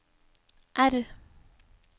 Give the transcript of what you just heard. R